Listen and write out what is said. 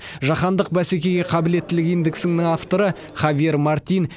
жаһандық бәсекеге қабілеттілік индексінің авторы хавьер мартин